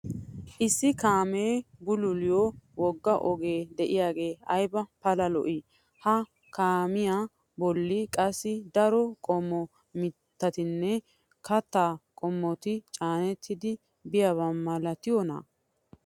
issi kaamee bulluliyo woga ogee diyaagee ayba pala lo'ii! ha kaamiyaa boli qassi daro qomo mitatinne kataa qommoti caanettidi biyaaba malattiyoonaa?